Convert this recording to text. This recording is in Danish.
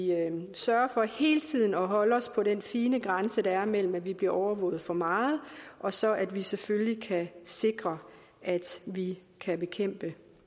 sørger for hele tiden at holde os på den fine grænse der er mellem at vi bliver overvåget for meget og så at vi selvfølgelig kan sikre at vi kan bekæmpe